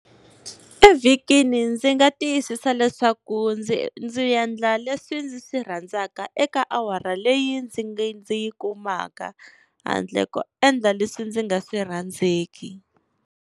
Evhikini ndzi nga tiyisisa leswaku ndzi ndzi endla leswi ndzi swi rhandzaka eka awara leyi ndzi nga yi kumaka, handle ko endla leswi ndzi nga swi rhandzeki.